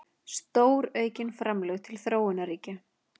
Stóraukin framlög til þróunarríkja